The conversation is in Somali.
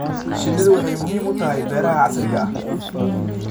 Shinnidu waxay muhiim u tahay beeraha casriga ah.